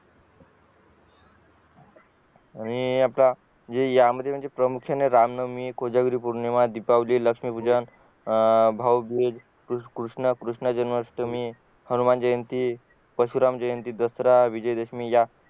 आणि आपला या मध्ये प्रामुख्याने रामनवमी कोजागिरी पौर्णिमा दीपावली लक्षमी पूजन अं भाऊबीज कृष्ण जन्माष्टमी हनुमानजयंती परशुराम जयंती दसरा विजयदशमी या